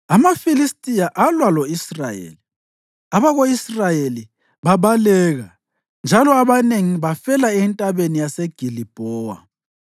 AmaFilistiya alwa lo-Israyeli; abako-Israyeli babaleka, njalo abanengi bafela eNtabeni yase Gilibhowa.